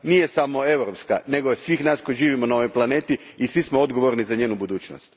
Nije samo europska, nego je svih nas koji živimo na ovoj planeti i svi smo odgovorni za njenu budućnost.